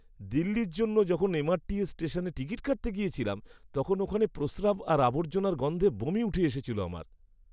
দিল্লির জন্য যখন এমআরটিএস স্টেশনে টিকিট কাটতে গেছিলাম, তখন ওখানে প্রস্রাব আর আবর্জনার গন্ধে বমি উঠে এসেছিল আমার!